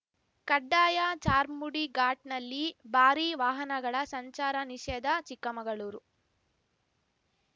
ಕಡ್ಡಾಯ ಚಾರ್ಮುಡಿಘಾಟ್‌ನಲ್ಲಿ ಭಾರಿ ವಾಹನಗಳ ಸಂಚಾರ ನಿಷೇಧ ಚಿಕ್ಕಮಗಳೂರು